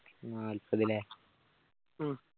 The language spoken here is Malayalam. നാല്പതല്ലേ ഉം